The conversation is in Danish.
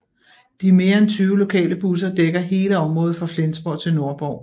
De mere end 20 lokale busser dækker hele området fra Flensborg til Nordborg